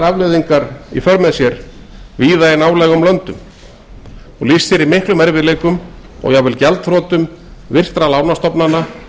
afleiðingar víða í nálægum löndum og lýst sér í miklum erfiðleikum og jafnvel gjaldþrotum virtra lánastofnana